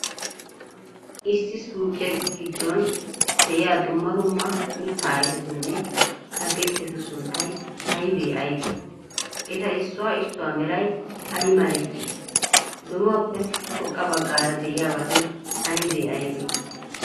Issi suuqiya giddon de'iya dumma dumma mitta ayfetunne atakilttetu sunttay aybee aybee? Eta issuwa issuwa meray ay malee? Donuwaappe xoqqa baggaara de'iyaabati aybee aybee?